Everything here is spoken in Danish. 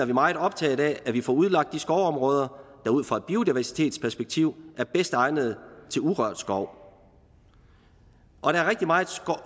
vi meget optaget af at vi får udlagt de skovområder der ud fra et biodiversitetsperspektiv er bedst egnet til urørt skov og der er rigtig meget